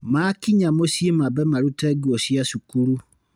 Makinya mũciĩ mambe marute nguo cia cukuru.